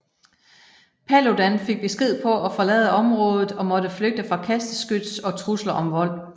Paludan fik besked på at forlade området og måtte flygte fra kasteskyts og trusler om vold